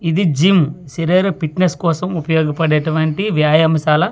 ఇది జిమ్ శరీర ఫిట్నెస్ కోసం ఉపయోగ పడేటటువంటి వ్యాయామ శాల ఇక్కడ.